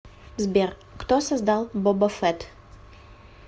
сбер кто создал боба фетт